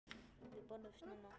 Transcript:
Við borðum snemma.